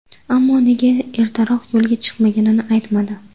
Ammo nega ertaroq yo‘lga chiqmaganini aytmadi.